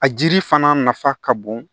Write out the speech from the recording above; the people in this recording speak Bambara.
A jiri fana nafa ka bon